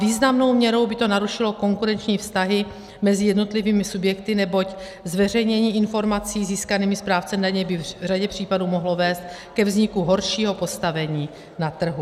Významnou měrou by to narušilo konkurenční vztahy mezi jednotlivými subjekty, neboť zveřejnění informací získaných správcem daně by v řadě případů mohlo vést ke vzniku horšího postavení na trhu.